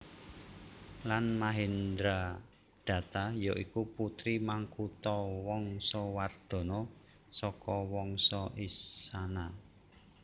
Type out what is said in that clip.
Lan Mahendradatta ya iku putri Makuthawangsawardhana saka Wangsa Isana